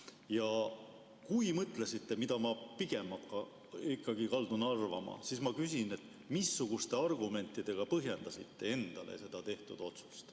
Ja kui mõtlesite, nagu ma pigem ikkagi kaldun arvama, siis ma küsin, missuguste argumentidega põhjendasite endale seda tehtud otsust.